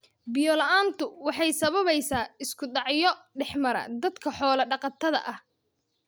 Biyo la�aantu waxay sababaysaa isku dhacyo dhexmara dadka xoolo dhaqatada ah.